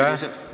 Aitäh!